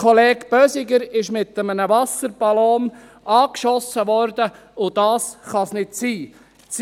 Kollege Bösiger wurde mit einem Wasserballon angeschossen, und das kann es nicht sein.